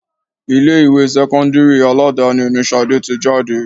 Ilé ìwé sẹ́kọ́ńdírì Aládàáni ni Ṣadé tí jáde.